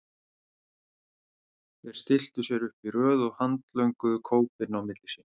Þeir stilltu sér upp í röð og handlönguðu kópinn á milli sín.